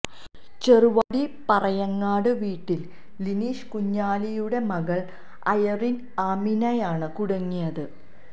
ചെറുവാടി പറയങ്ങാട് വീട്ടിൽ ലിനീഷ് കുഞ്ഞാലിയുടെ മകൾ അയറിൻ ആമിനയാണ് കുടുങ്ങിയത്